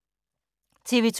TV 2